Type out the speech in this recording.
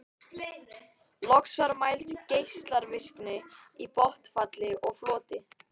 Loks var mæld geislavirkni í botnfalli og floti.